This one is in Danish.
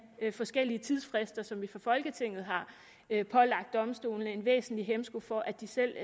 forskellige tidsfrister som vi fra folketinget har har pålagt domstolene en væsentlig hæmsko for at de selv